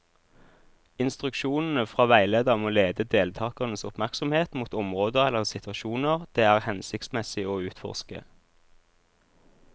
Instruksjonene fra veileder må lede deltakernes oppmerksomhet mot områder eller situasjoner det er hensiktsmessig å utforske.